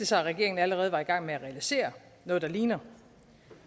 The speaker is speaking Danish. sig at regeringen allerede var i gang med at realisere noget der ligner